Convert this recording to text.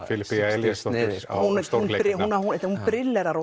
Filippía Elíasdóttir á stórleik hún brillerar